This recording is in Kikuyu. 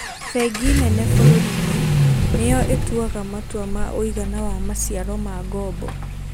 Bengi nene bũrũri-inĩ niyo ituaga matua ma ũigana wa maciaro ma ngoombo